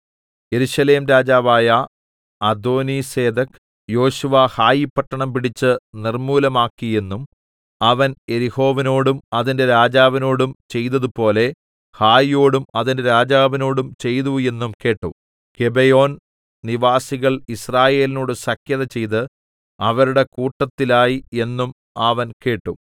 യെരൂശലേം രാജാവായ അദോനീസേദെക് യോശുവ ഹായിപട്ടണം പിടിച്ച് നിർമ്മൂലമാക്കി എന്നും അവൻ യെരിഹോവിനോടും അതിന്റെ രാജാവിനോടും ചെയ്തതുപോലെ ഹായിയോടും അതിന്റെ രാജാവിനോടും ചെയ്തു എന്നും കേട്ടു ഗിബെയോൻ നിവാസികൾ യിസ്രായേലിനോട് സഖ്യത ചെയ്ത് അവരുടെ കൂട്ടത്തിലായി എന്നും അവൻ കേട്ടു